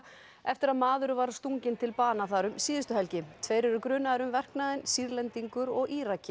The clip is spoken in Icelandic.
eftir að maður var stunginn til bana þar um síðustu helgi tveir eru grunaðir um verknaðinn Sýrlendingur og